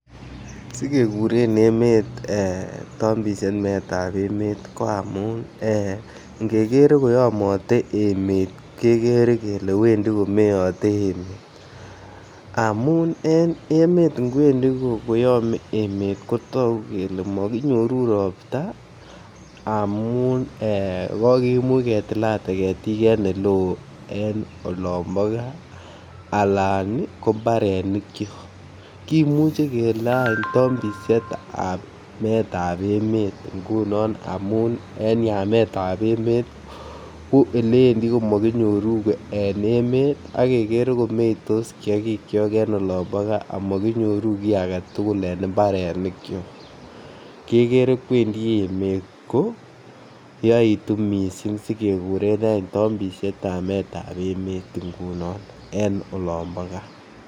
Sigeguren emet ee tombisiet meetab emet ko amun ngeger koyomote emet kegere kelee wendi komeote amun en emet kwendi koyome emet kotogu kelee mokinyoruu ropta amun kokimuch ketilate ketik en ele oo en olombo gaa alan ko mbarenikyok kimuche kelee any tombisietab meetab emet ngunon amun en yametab emet ko eleendi komo kinyoru beek en emet agegere komeitos kiagikyok en olombo gaa omo kinyoru gii agetugul en mbarenikyok, kegere kwendi emet ko yoitu missing sikeguren any tombisietab meetab emet ngunon en olombo gaa